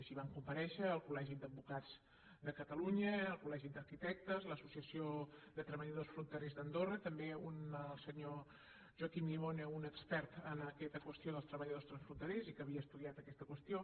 així van comparèixer el col·legi d’advocats de catalunya el col·legi d’arquitectes l’associació de treballadors fronterers d’andorra també el senyor joaquim llimona un expert en aquesta qüestió dels treballadors transfronterers i que havia estudiat aquesta qüestió